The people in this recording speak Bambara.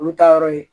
Olu ta yɔrɔ ye